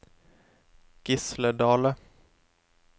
Gisle Dahle